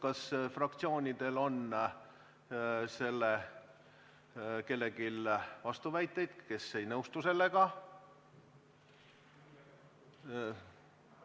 Kas fraktsioonidel on vastuväiteid?